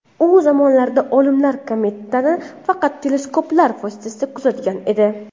U zamonlarda olimlar kometani faqat teleskoplar vositasida kuzatgan edi.